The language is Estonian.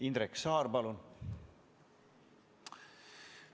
Indrek Saar, palun!